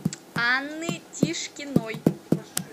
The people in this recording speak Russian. анны тишкиной